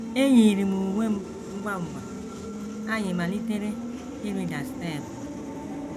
“ Eyiiri m uwe m ngwa ngwa, anyị malitere ịrịda steepụ.